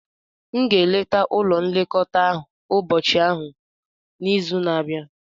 M ga-eleta ụlọ nlekọta ụbọchị ahụ n'izu na-abịa.